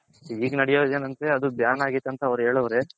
ಈಗ್ ನಡೆಯೋದ್ ಏನ್ ಅಂದ್ರೆ ಅದು ban ಆಗೈತ್ ಅಂತ ಅವ್ರ್ ಹೇಳವ್ರೆ.